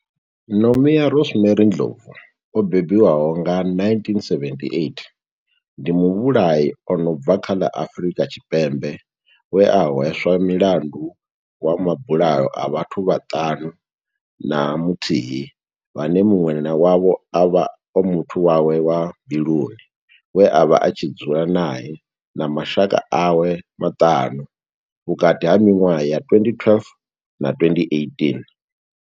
Nomia Rosemary Ndlovu o bebiwaho nga, 1978, ndi muvhulahi a no bva kha ḽa Afrika Tshipembe we a hweswa mulandu wa mabulayo a vhathu vhaṱanu na muthihi vhane munwe wavho ovha a muthu wawe wa mbiluni we avha a tshi dzula nae na mashaka awe maṱanu, vhukati ha miṅwaha ya 2012 na 2018.